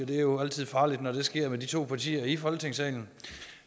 det er jo altid farligt når det sker med de to partier i folketingssalen